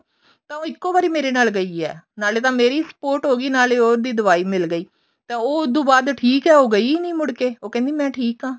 ਤਾਂ ਉਹ ਇੱਕੋ ਵਾਰੀ ਮੇਰ ਨਾਲ ਗਈ ਹੈ ਨਾਲੇ ਤਾਂ ਮੇਰੀ support ਹੋਗੀ ਨਾਲੇ ਤਾਂ ਉਹਦੀ ਦਵਾਈ ਮਿਲ ਗਈ ਤਾਂ ਉਹ ਤੋਂ ਬਾਅਦ ਠੀਕ ਹੈ ਗਈ ਨੀ ਮੁੜ ਕੇ ਉਹ ਕਹਿੰਦੀ ਮੈਂ ਠੀਕ ਹਾਂ